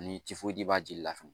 Ni ci foyi b'a jeli la fɛnɛ